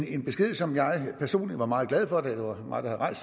en besked som jeg personligt var meget glad for da det var mig der havde